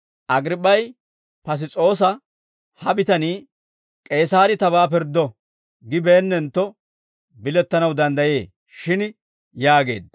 Agriip'p'ay Piss's'oosa, «Ha bitanii, ‹K'eesaarii tabaa pirddo› gibeennentto, bilettanaw danddayee shin» yaageedda.